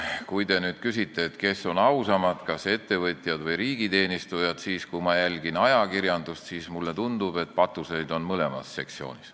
Kui te nüüd küsite, kes on ausamad, kas ettevõtjad või riigiteenistujad, siis kui ma jälgin ajakirjandust, mulle tundub, et patuseid on mõlemas sektsioonis.